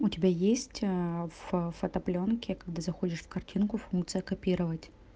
у тебя есть аа в в фотоплёнке когда заходишь в картинку функция копировать